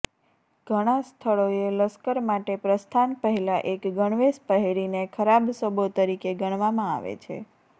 ઘણા સ્થળોએ લશ્કર માટે પ્રસ્થાન પહેલાં એક ગણવેશ પહેરીને ખરાબ શબો તરીકે ગણવામાં આવે છે